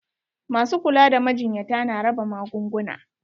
Masu kula da majinyata na raba magunguna.